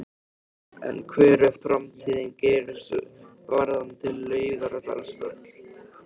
En hver er framtíðarsýn Geirs varðandi Laugardalsvöll?